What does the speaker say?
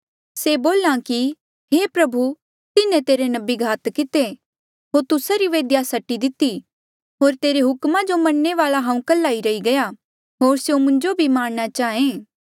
से बोल्हा कि हे प्रभु तिन्हें तेरे नबी घात किते होर तुस्सा री वेदिया सटी दिती होर तेरे हुकमा जो मन्ने वाल्आ हांऊँ कल्हा ई रही गईरा होर स्यों मुंजो भी मारणा चांहे